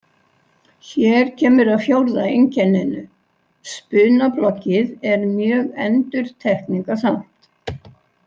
Hér kemur að fjórða einkenninu: Spunabloggið er mjög endurtekningasamt.